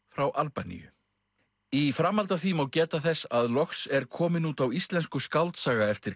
frá Albaníu í framhaldi af því má geta þess að loks er komin út á íslensku skáldsaga eftir